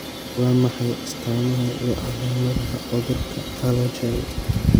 Waa maxay astamaha iyo calaamadaha cudurka Alagille ?